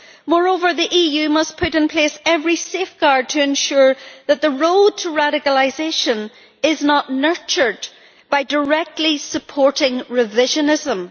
Moreover, the EU must put in place every safeguard to ensure that the road to radicalisation is not nurtured by directly supporting revisionism.